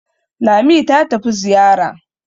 Lami ta tafi Zariya.